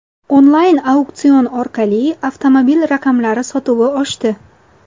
Onlayn auksion orqali avtomobil raqamlari sotuvi oshdi.